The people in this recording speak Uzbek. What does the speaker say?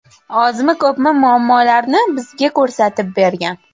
Ozmi, ko‘pmi muammolarni bizga ko‘rsatib bergan.